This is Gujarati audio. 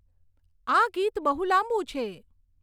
આ ગીત બહુ લાંબુ છે